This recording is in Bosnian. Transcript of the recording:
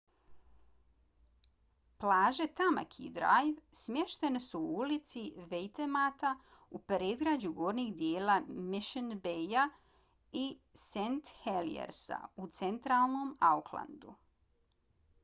plaže tamaki drive smještene su u luci waitemata u predgrađu gornjeg dijela mission bayja i st heliersa u centralnom aucklandu